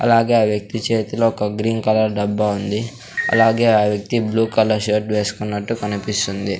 అలాగే ఆ వ్యక్తి చేతిలో ఒక గ్రీన్ కలర్ డబ్బా ఉంది అలాగే ఆ వ్యక్తి బ్లూ కలర్ షర్ట్ వేసుకున్నట్టు కనిపిస్తుంది.